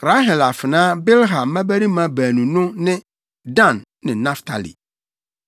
Rahel afenaa Bilha mmabarima baanu no ne Dan ne Naftali